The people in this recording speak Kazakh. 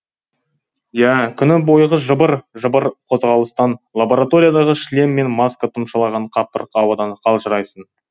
иә күні бойғы жыбыр жыбыр қозғалыстан лабораториядағы шлем мен маска тұмшалаған қапырық ауадан қалжырайсың